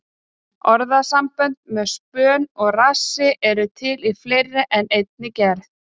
Orðasambönd með spönn og rassi eru til í fleiri en einni gerð.